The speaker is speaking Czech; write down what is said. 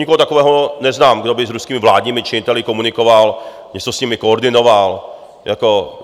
Nikoho takového neznám, kdo by s ruskými vládními činiteli komunikoval, něco s nimi koordinoval.